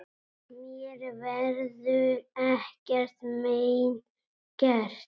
Mér verður ekkert mein gert.